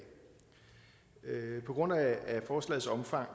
på grund af forslagets omfang